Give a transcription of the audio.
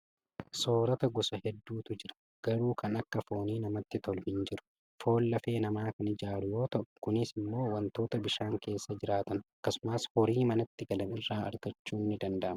Soorata gosa hedduutu jira. Garuu kan akka foonii namatti tolu hin jiru. Foon lafee namaa kan ijaaru yoo ta'u, kunis immoo wantoota bishaan keessa jiraaatan, akkasumas horii manatti galan irraa argachuun ni danda'ama.